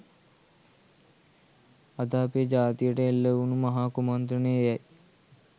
අද අපේ ජාතියට එල්ල වුනු මහා කුමන්ත්‍රණය එයයි